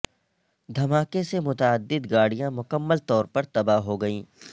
دھماکے سے متعدد گاڑیاں مکمل طور پر تباہ ہوگئیں